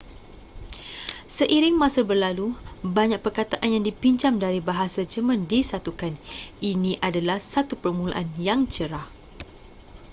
seiring masa berlalu banyak perkataan yang dipinjam dari bahasa jerman disatukan ini adalah satu permulaan yang cerah